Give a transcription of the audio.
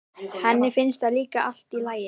Henni finnst það líka allt í lagi.